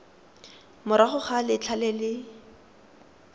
morago ga letlha le le